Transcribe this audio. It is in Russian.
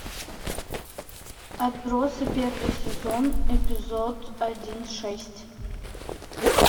отбросы первый сезон эпизод один шесть